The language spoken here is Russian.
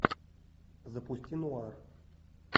запусти нуар